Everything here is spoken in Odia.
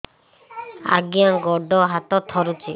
ଆଜ୍ଞା ଗୋଡ଼ ହାତ ଥରୁଛି